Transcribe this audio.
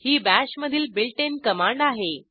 ही bash मधील built in command आहे